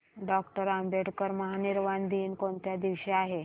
doctor Ambedkar महापरिनिर्वाण दिन कोणत्या दिवशी आहे